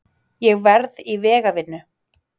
Ég verð í vegavinnu.